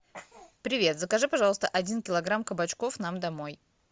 привет закажи пожалуйста один килограмм кабачков нам домой